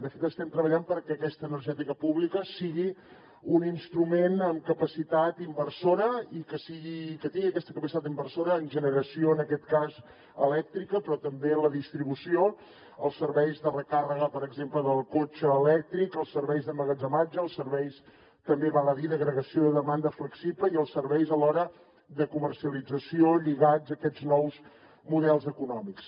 de fet estem treballant perquè aquesta energètica pública sigui un instrument amb capacitat inversora i que tingui aquesta capacitat inversora en generació en aquest cas elèctrica però també en la distribució els serveis de recàrrega per exemple del cotxe elèctric els serveis d’emmagatzematge els serveis també val a dir d’agregació de demanda flexible i els serveis alhora de comercialització lligats a aquests nous models econòmics